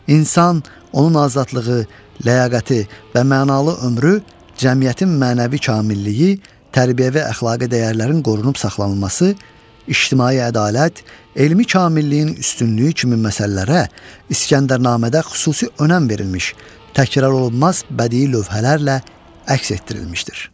İnsan, onun azadlığı, ləyaqəti və mənalı ömrü, cəmiyyətin mənəvi kamilliyi, tərbiyəvi əxlaqi dəyərlərin qorunub saxlanılması, ictimai ədalət, elmi kamilliyin üstünlüyü kimi məsələlərə İskəndərnamədə xüsusi önəm verilmiş, təkrarolunmaz bədii lövhələrlə əks etdirilmişdir.